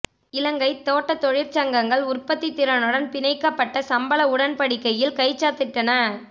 இலங்கை தோட்டத் தொழிற்சங்கங்கள் உற்பத்தி திறனுடன் பிணைக்கப்பட்ட சம்பள உடன்படிக்கையில் கைச்சாத்திட்டன